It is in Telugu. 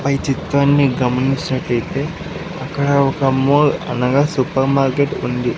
పై చిత్రాన్ని గమనించినట్లయితే అక్కడ ఒక మోల్ అనగా సూపర్ మార్కెట్ ఉంది.